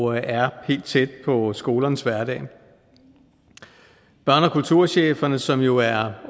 og er helt tæt på skolernes hverdag børne og kulturchefforeningen som jo er